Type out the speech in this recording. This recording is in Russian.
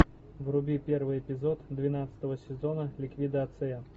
вруби первый эпизод двенадцатого сезона ликвидация